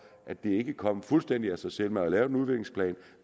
at det ikke er kommet fuldstændig af sig selv man har lavet en udviklingsplan